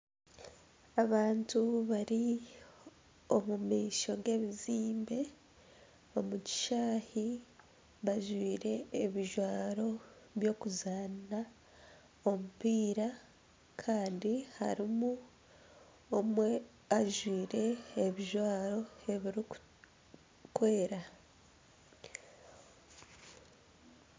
Abantu bari omu maisho g'ebizimbe omu kishayi bajwire ebijwaro by'okuzanisa omupiira Kandi harimu omwe ajwire ebijwaro ebiri kwera.